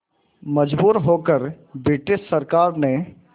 मजबूर होकर ब्रिटिश सरकार ने